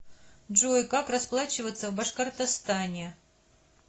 джой как расплачиваться в башкортостане